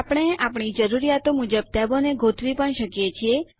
આપણે આપણી જરૂરીયાતો મુજબ ટેબોને ગોઠવી પણ શકીએ છીએ